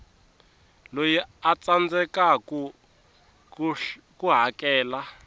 loyi a tsandzekaku ku hakela